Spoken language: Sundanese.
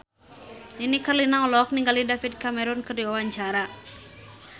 Nini Carlina olohok ningali David Cameron keur diwawancara